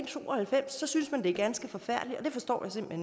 to og halvfems så synes man det er ganske forfærdeligt og det forstår